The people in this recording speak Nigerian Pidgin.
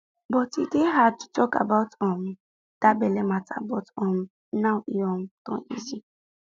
before e dey hard to talk about um that belle matter but um now e um don easy